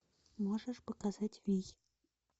можешь показать вий